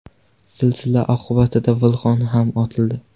Zilzila oqibatida vulqon ham otildi.